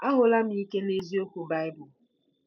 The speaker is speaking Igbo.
Ahụla m Ike nke Eziokwu Baịbụl